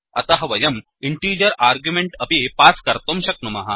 अतः वयम् integer argument अपि पास् कर्तुं शक्नुमः